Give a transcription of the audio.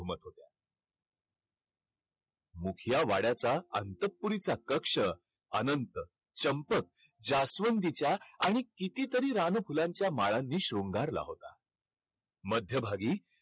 मुख्या वाड्याचा अंतपुरीचा कक्ष अनंत, चंपक, जास्वंदीच्या आणि कितीतरी रानफुलांच्या माळांनी शृंगारला होता. मध्यभागी